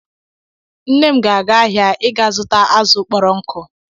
Nne m ga-aga ahịa ịga zuta azụ̀ kpọrọ nkụ